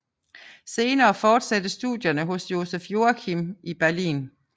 Senere fortsattes studierne hos Joseph Joachim i Berlin